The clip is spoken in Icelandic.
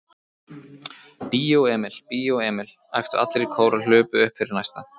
Bíó Emil, Bíó Emil. æptu allir í kór og hlupu upp fyrir næsta